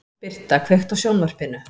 Birta, kveiktu á sjónvarpinu.